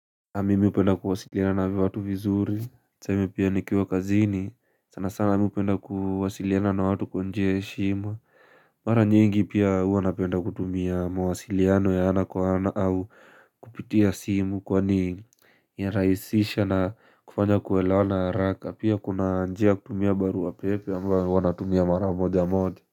Mimi hupenda kuwasiliana na watu vizuri, tuseme pia nikiwa kazini, sana sana mimi hupenda kuwasiliana na watu kwa njia ya heshima Mara nyingi pia huwa napenda kutumia mawasiliano ya ana kwa ana au kupitia simu kwanii ya rahisisha na kufanya kuelewa na haraka Pia kuna njia ya kutumia barua pepe ambao huwa natumia mara moja moja.